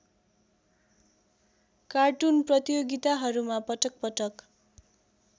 cartoon प्रतियोगिताहरूमा पटकपटक